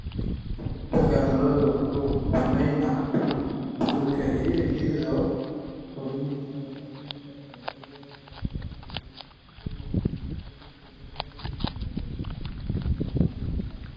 Isbeddelka cimiladu wuxuu saameeyaa caafimaadka adduunka iyadoo kordhinaysa faafitaanka cudurrada faafa oo ay ugu wacan tahay isbeddellada ku yimaadda nidaamka deegaanka.